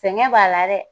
Sɛgɛn b'a la dɛ